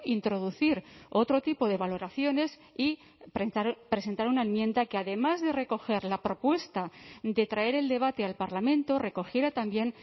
introducir otro tipo de valoraciones y presentar una enmienda que además de recoger la propuesta de traer el debate al parlamento recogiera también